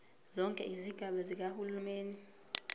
zonke izigaba zikahulumeni